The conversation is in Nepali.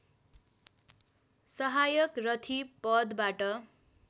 सहायक रथी पदबाट